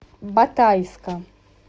батайска